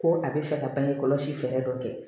Ko a bɛ fɛ ka bange kɔlɔsi fɛɛrɛ dɔ kɛ